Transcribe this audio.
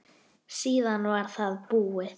Síðan var það búið.